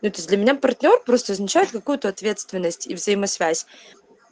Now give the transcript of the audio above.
нет то есть для меня партнёр просто означает какую-то ответственность и взаимосвязь